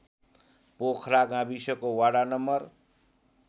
पोखरा गाविसको वडा नं